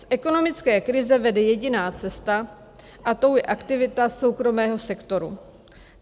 Z ekonomické krize vede jediná cesta, a tou je aktivita soukromého sektoru.